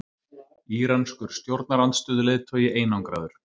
Íranskur stjórnarandstöðuleiðtogi einangraður